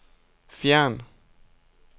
fjern